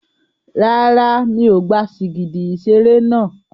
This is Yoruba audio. Rárá, mi ò gba sìgìdì ìṣeré náà.